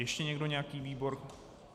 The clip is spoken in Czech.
Ještě někdo nějaký výbor?